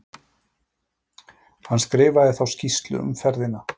Hann skrifaði þá skýrslu um ferðina